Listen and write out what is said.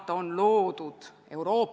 See ettepanek komisjonis toetust ei leidnud.